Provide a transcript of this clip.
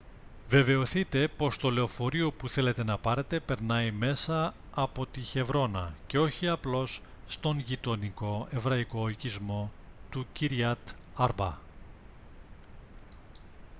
βεβαιωθείτε πως το λεωφορείο που θέλετε να πάρετε περνάει μέσα από τη χεβρώνα και όχι απλώς στον γειτονικό εβραϊκό οικισμό του kiryat arba